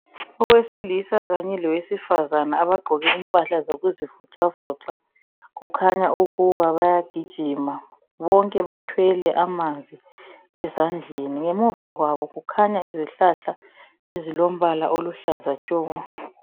Owesilisa kanye lowesifazane abagqoke impahla zokuzivoxavoxa. Kukhanya ukuba bayagijima. Bonke bathwele amanzi ezandleni. Ngemuva kwabo kukhanya izihlahla ezilombala oluhlaza tshoko.